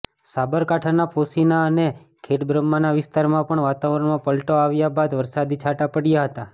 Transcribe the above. સાબરકાંઠાના પોશીના અને ખેડબ્રહ્માના વિસ્તારમાં પણ વાતાવરણમાં પલટો આવ્યા બાદ વરસાદી છાંટા પડયા હતા